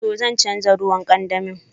To, zan chanza ruwan kandami.